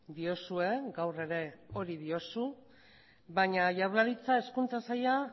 diozue gaur ere hori diozu baina jaurlaritza hezkuntza saila